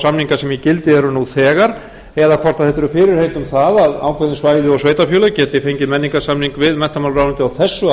samninga sem í gildi eru nú þegar eða hvort þetta eru fyrirheit um það hvort ákveðin svæði og sveitarfélög geti fengið menningarsamning við menntamálaráðuneytið á þessu